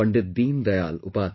Deen Dayal Upadhyay